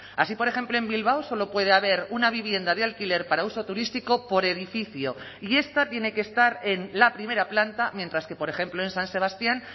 así por ejemplo en bilbao solo puede haber una vivienda de alquiler para uso turístico por edificio y esta tiene que estar en la primera planta mientras que por ejemplo en san sebastián